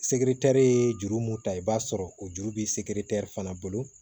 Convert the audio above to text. Sekiritɛri ye juru mun ta i b'a sɔrɔ o juru bi se fana bolo